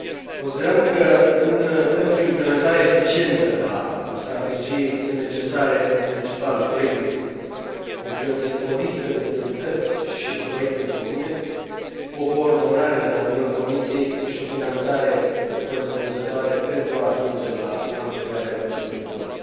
Considerăm că, pentru implementarea eficientă a strategiei, sunt necesare în principal trei lucruri o listă de priorități și proiecte comune, o coordonare de la nivelul Comisiei și o finanțare corespunzătoare pentru a ajunge la finalul pe care îl dorim toți.